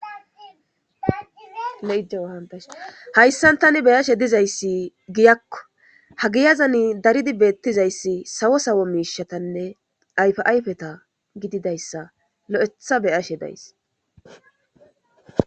hayssan tani be'ashe dizayssi giyakko ha giyazan daridi beettizayssi sawo sawo miishatanne ayfa ayfeta gididayssa lo'etha be'ashe days